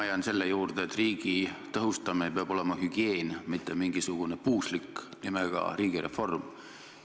Ma jään selle juurde, et riigi tõhustamine peab olema hügieen, mitte mingisugune puuslik nimega riigireform.